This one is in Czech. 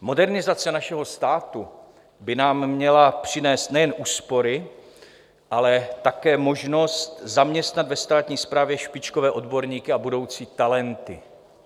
Modernizace našeho státu by nám měla přinést nejen úspory, ale také možnost zaměstnat ve státní správě špičkové odborníky a budoucí talenty.